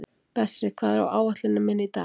Bessi, hvað er á áætluninni minni í dag?